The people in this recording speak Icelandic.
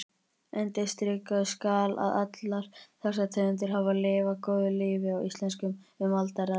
Undirstrikað skal að allar þessar tegundir hafa lifað góðu lífi á Íslendingum um alda raðir.